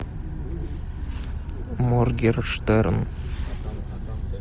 моргенштерн